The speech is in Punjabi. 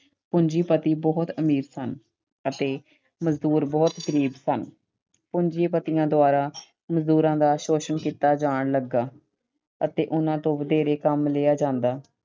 ਪੂੰਜੀਪਤੀ ਬਹੁਤ ਅਮੀਰ ਸਨ ਅਤੇ ਮਜ਼ਦੂਰ ਬਹੁਤ ਗਰੀਬ ਸਨ। ਪੂੰਜੀਪਤੀਆਂ ਦੁਆਰਾ ਮਜ਼ਦੂਰਾਂ ਦਾ ਸ਼ੋਸ਼ਣ ਕੀਤਾ ਜਾਣ ਲੱਗਾ ਅਤੇ ਉਹਨਾਂ ਤੋਂ ਵਧੇਰੇ ਕੰਮ ਲਿਆ ਜਾਂਦਾ।